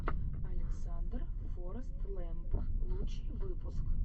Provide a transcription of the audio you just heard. александр форэстлэмп лучший выпуск